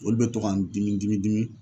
Olu bɛ to ka n dimi dimi dimi